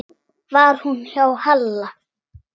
Var hún hjá Halla?